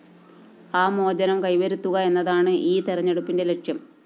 ആ മോചനം കൈവരുത്തുക എന്നതാണ് ഈ തെരഞ്ഞെടുപ്പിന്റെ ലക്ഷ്യം